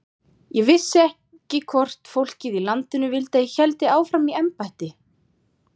Brennisteinsvetni tærir eir mjög hratt, og er óráðlegt að nota eirrör fyrir hitaveituvatn.